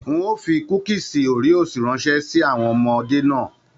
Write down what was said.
N o fí kúkísí Oreos ránṣẹ sí àwọn ọmọdé náà.